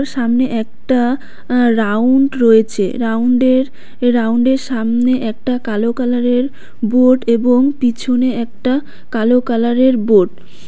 সামনে একটা আ রাউন্ড রয়েছে রাউন্ডের রাউন্ডের সামনে একটা কালো কালারের বোর্ড এবং পিছনে একটা কালো কালারের বোর্ড ।